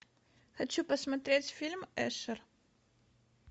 хочу посмотреть фильм эшер